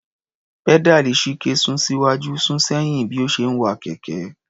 Pẹ́dáàlì Chike sún síwájú sún sẹ́yìn bí ó ṣe ń wa kẹ̀kẹ́.